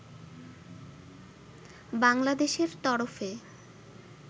বাংলাদেশের তরফে